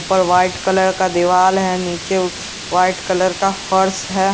ऊपर white colour का दिवाल है नीचे व्हाइट कलर का फर्श है।